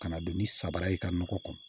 Ka na don ni samara ye i ka nɔgɔ kɔnɔ